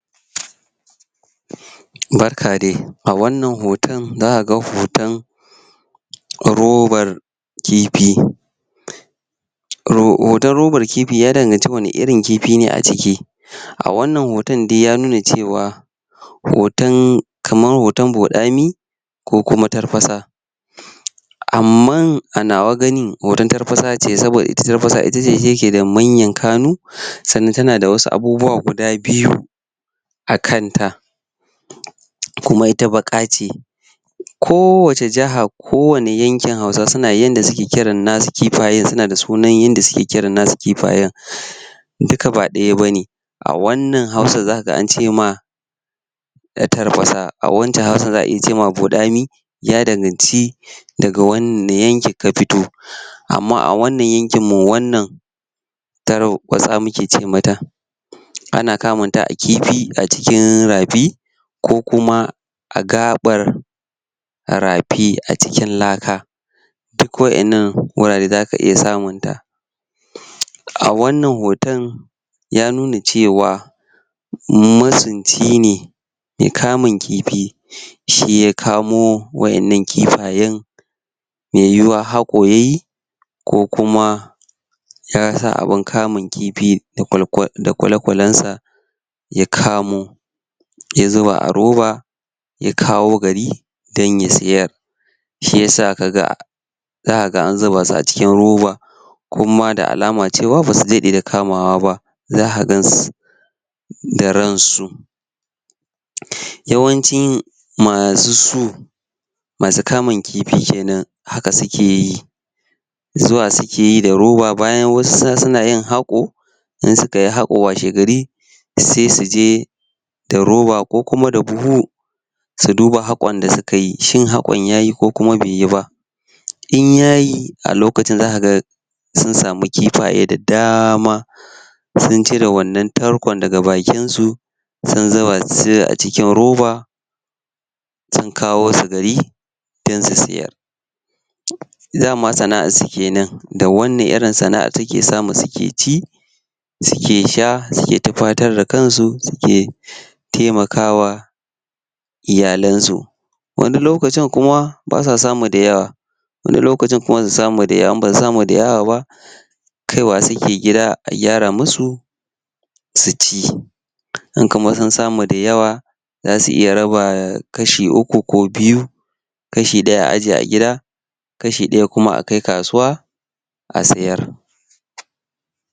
Um um barka de a wannan hoton zakaga hoton robar kifi um ho.. hoton robar kifi, ya danganci wani irin kifi ne a ciki um a wannan hoton dai ya nuna cewa hoton kaman hoton boɗami ko kuma tarfasa um amman a nawa ganin hoton tarfasa ce, saboda tarfasa ita ce take da manyan kanu um sannan tana da wasu abubuwa guda biyu a kanta um kuma ita baƙa ce ko wace jaha ko wani yankin hausawa suna da yanda suke kiran nasu kifayen, suna da sunan yanda suke kiran nasu kifayen umm duka ba ɗaya bane a wannan hausan zakaji an ce ma a tarfasa, a wancsn hausan za'a iya ce ma boɗami ya danganci daga wani yanki ka fito um amma a wannan yankin mu wannan tar watsa muke ce mata ana kamunta a kifi, a cikin rafi ko kuma a gaɓar rafi a cikin laka duk wa innan wurare zaka iya samunta a wannan hoton ya nuna cewa masunci ne me kamun kifi um shi ya kamo wa innan kifayen me yiwuwa haƙo yayi ko kuma ya sa abin kamun kifi da kwal.. kwal.. da kwale-kwalensa ya kamo ya zuba a roba ya kawo gari don ya siyar shiyasa kaga zakaga an zuba su a cikin roba kuma da alama cewa basu daɗe da kamawa ba zaka gansu da ransu yawancin masu su masu kamun kifi kenan haka sukeyi zuwa sukeyi da roba, bayan wasu su sunayin hako in sukayi haƙo washegari se suje da roba, ko kuma da buhu su duba haƙon da sukayi, shin hakon yayi ko kuma beyi ba in yayi a lokacin zakaga sun sami kifaye da dama sun cire wannan tarkon daga bakinsu sun zuba su a ikin roba sun kawosu gari don su siyar um dama sana'arsu kenan da wannan irin sana'a take samu suke ci suke sha, suke tufatar da kansu, suke um temakawa iyalansu wani lokacin kuma basa samu da yawa wani lokaaci kuma su samu da yawa, in basu samu kaiwa suke gida a gyara musu suci, in kuma sun samu da yawa zasu iya raba kashi uku ko biyu kashi ɗaya a aje a gida kashi ɗaya kuma a kai kasuwa a sayar um